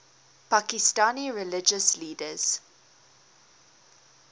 pakistani religious leaders